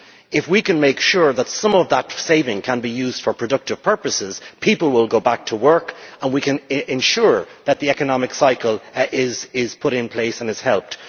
If we can make sure that some of that saving can be used for productive purposes, people will go back to work and we can ensure that the economic cycle is put in place and is helped.